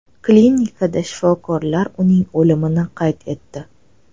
Klinikada shifokorlar uning o‘limini qayd etdi.